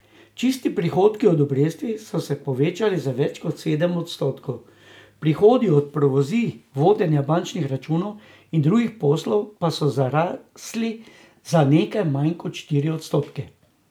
Čisti prihodki od obresti so se povečali za več kot sedem odstotkov, prihodki od provizij, vodenja bančnih računov in drugih poslov pa so zrasli za nekaj manj kot štiri odstotke.